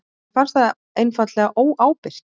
Mér fannst það einfaldlega óábyrgt